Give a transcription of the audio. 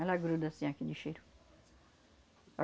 Ela gruda assim aquele cheiro.